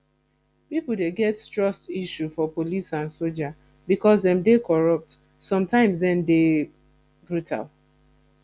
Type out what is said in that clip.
pipo dey get trust issue for police and soldier because dem dey corrupt sometimes dem de dey brutal